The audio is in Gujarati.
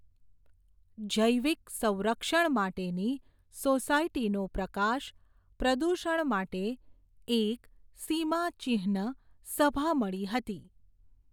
જૈવિક સંરક્ષણ માટેની, સોસાયટીનું પ્રકાશ, પ્રદૂષણ માટે, એક, સીમાચિહ્ન, સભા મળી હતી.